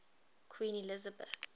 queen elizabeth